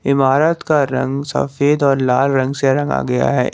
इमारत का रंग सफेद और लाल रंग से रंगा गया है।